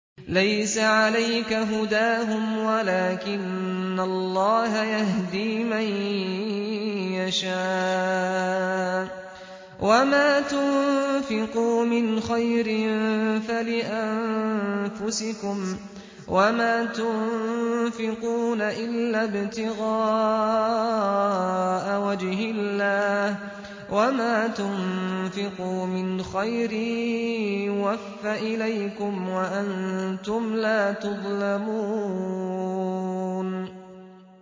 ۞ لَّيْسَ عَلَيْكَ هُدَاهُمْ وَلَٰكِنَّ اللَّهَ يَهْدِي مَن يَشَاءُ ۗ وَمَا تُنفِقُوا مِنْ خَيْرٍ فَلِأَنفُسِكُمْ ۚ وَمَا تُنفِقُونَ إِلَّا ابْتِغَاءَ وَجْهِ اللَّهِ ۚ وَمَا تُنفِقُوا مِنْ خَيْرٍ يُوَفَّ إِلَيْكُمْ وَأَنتُمْ لَا تُظْلَمُونَ